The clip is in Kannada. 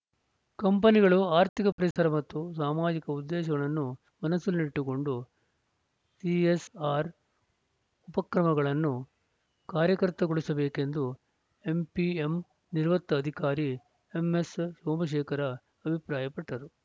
ಕಂಪನಿಗಳು ಆರ್ಥಿಕ ಪರಿಸರ ಮತ್ತು ಸಾಮಾಜಿಕ ಉದ್ದೇಶಗಳನ್ನು ಮನಸ್ಸಿನಲ್ಲಿಟ್ಟುಕೊಂಡು ಸಿಎಸ್‌ಆರ್‌ ಉಪಕ್ರಮಗಳನ್ನು ಕಾರ್ಯಕರ್ತಗೊಳಿಸಬೇಕೆಂದು ಎಂಪಿಎಂ ನಿವೃತ್ತ ಅಧಿಕಾರಿ ಎಂಎಸ್‌ ಸೋಮಶೇಖರ ಅಭಿಪ್ರಾಯಪಟ್ಟರು